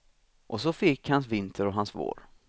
Och så förgick hans vinter och hans vår.